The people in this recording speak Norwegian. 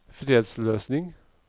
fredsløsning